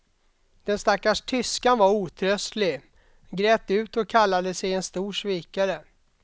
Den stackars tyskan var otröstlig, grät ut och kallade sig en stor svikare.